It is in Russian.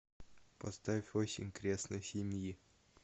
поставь осень крестной семьи